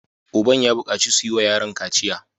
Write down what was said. Uban ya bukaci su yi wa yaron kaciya!